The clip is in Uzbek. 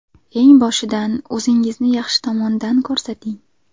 Eng boshidan o‘zingizni yaxshi tomondan ko‘rsating.